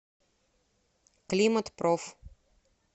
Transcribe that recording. климатпроф